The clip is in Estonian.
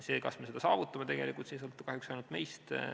See, kas me seda saavutame, ei sõltu kahjuks ainult meist.